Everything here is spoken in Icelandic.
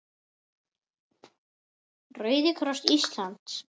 Rauði kross Íslands